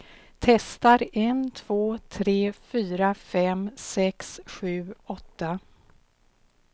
Testar en två tre fyra fem sex sju åtta.